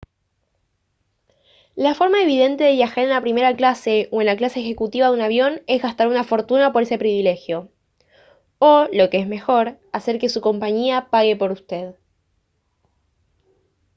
la forma evidente de viajar en la primera clase o en la clase ejecutiva de un avión es gastar una fortuna por ese privilegio o lo que es mejor hacer que su compañía pague por usted